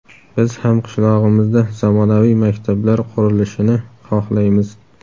Biz ham qishlog‘imizda zamonaviy maktablar qurilishini xohlaymiz.